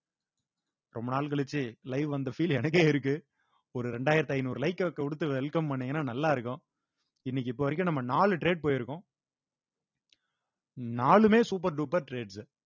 ரொம்ப நாள் கழிச்சு live வந்த feel எனக்கே இருக்கு ஒரு இரண்டாயிரத்து ஐந்நூறு like அ கொடுத்து welcome பண்ணீங்கன்னா நல்லா இருக்கும் இன்னைக்கு இப்ப வரைக்கும் நம்ம நாலு trade போயிருக்கோம் நாலுமே super டூப்பர் trades உ